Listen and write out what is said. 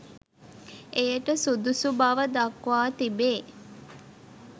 එයට සුදුසු බව දක්වා තිබේ.